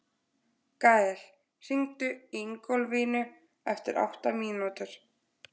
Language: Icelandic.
Gael, hringdu í Ingólfínu eftir átta mínútur.